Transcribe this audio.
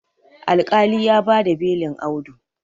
alƙali ya ba da belin Audu